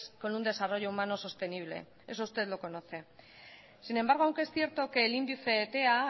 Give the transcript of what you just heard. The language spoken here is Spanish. con un desarrollo humano sostenible eso usted lo conoce sin embargo aunque es cierto que el índice tea